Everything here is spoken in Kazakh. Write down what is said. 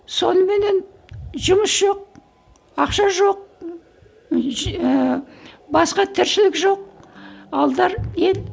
соныменен жұмыс жоқ ақша жоқ ііі басқа тіршілік жоқ